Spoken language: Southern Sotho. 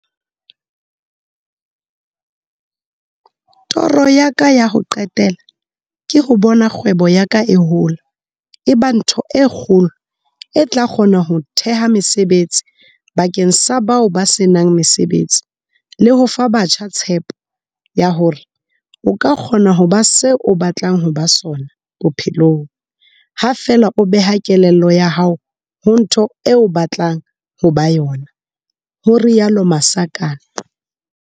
Toro ya ka ya ho qetela ke ho bona kgwebo ya ka e hola e ba ntho e kgolo e tla kgona ho theha mesebetsi bakeng sa bao ba se nang mesebetsi le ho fa batjha tshepo ya hore o ka kgona ho ba se o batlang ho ba sona bophelong ha feela o beha kelello ya hao ho ntho eo batlang ho ba yona, ho rialo Masakane.